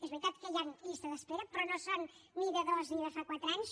és veritat que hi han llistes d’espera però no són ni de dos ni de quatre anys